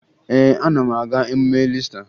Ee, ana m aga emume Iista